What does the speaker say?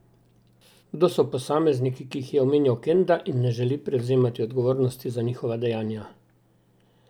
Kdo so posamezniki, ki jih je omenjal Kenda in ne želi prevzemati odgovornosti za njihova dejanja?